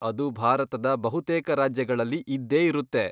ಅದು ಭಾರತದ ಬಹುತೇಕ ರಾಜ್ಯಗಳಲ್ಲಿ ಇದ್ದೇ ಇರುತ್ತೆ.